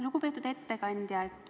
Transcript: Lugupeetud ettekandja!